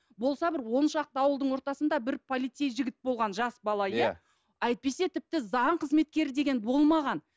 болса бір он шақты ауылдың ортасында бір полицей жігіт болған жас бала иә әйтпесе тіпті заң қызметкері деген болмаған